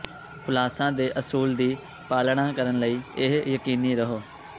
ਖੁਲਾਸਾ ਦੇ ਅਸੂਲ ਦੀ ਪਾਲਣਾ ਕਰਨ ਲਈ ਇਹ ਯਕੀਨੀ ਰਹੋ